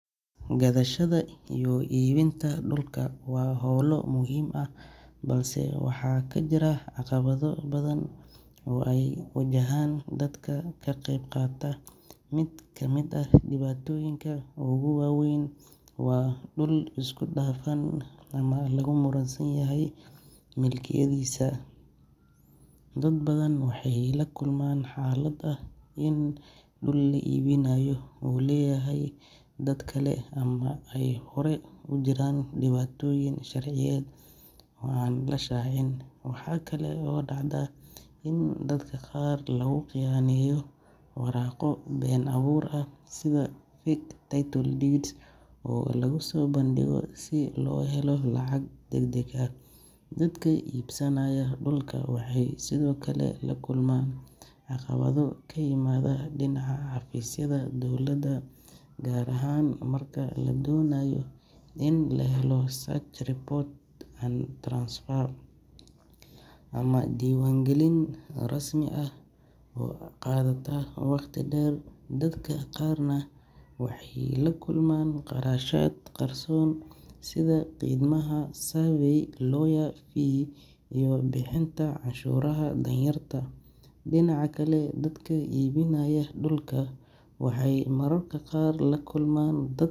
Gadashada iyo iibinta dhulka waa howlo muhiim ah balse waxaa ka jira caqabado badan oo ay wajahaan dadka ka qeybqaata. Mid ka mid ah dhibaatooyinka ugu waaweyn waa dhul isku dhafan ama lagu muransan yahay milkiyadiisa. Dad badan waxay la kulmaan xaalad ah in dhul la iibinayo uu leeyahay dad kale ama ay horay u jiraan dhibaatooyin sharciyeed oo aan la shaacin. Waxa kale oo dhacda in dadka qaar lagu khiyaaneeyo waraaqo been abuur ah sida fake title deeds oo lagu soo bandhigo si loo helo lacag degdeg ah. Dadka iibsanaya dhulka waxay sidoo kale la kulmaan caqabado ka yimaada dhinaca xafiisyada dowladda, gaar ahaan marka la doonayo in la helo search report, land transfer, ama diiwaangelin rasmi ah oo qaadata waqti dheer. Dadka qaarna waxay la kulmaan kharashaad qarsoon sida khidmadaha survey, lawyer fee, iyo bixinta canshuuraha dowladda taasoo culays ku noqota dadka danyarta ah. Dhinaca kale, dadka iibinaya dhulka waxay mararka qaar la kulmaan dad.